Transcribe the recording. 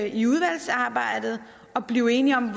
i udvalgsarbejdet og blive enige om